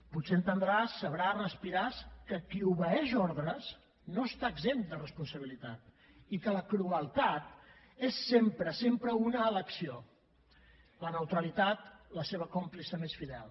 potser entendràs sabràs respiraràs que qui obeeix ordres no està exempt de responsabilitat i que la crueltat és sempre sempre una elecció la neutralitat la seva còmplice més fidel